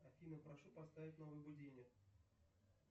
афина прошу поставить новый будильник